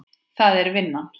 Það er vinnan.